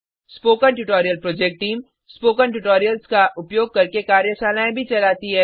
spoken tutorial project team spoken tutorials का उपयोग करके कार्यशालाएँ भी चलाती है